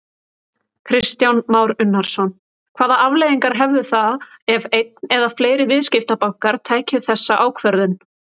Kristján Már Unnarsson: Hvaða afleiðingar hefðu það ef einn eða fleiri viðskiptabankar tækju þessa ákvörðun?